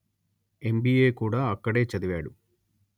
MBA కూడా అక్కడే చదివాడు